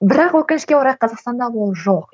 бірақ өкінішке орай қазастанда ол жоқ